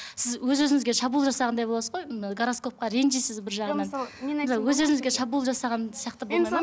сіз өз өзіңізге шабуыл жасағандай боласыз ғой ы гороскопқа ренжисіз бір жағынан өз өзіңізге шабуыл жасаған сияқты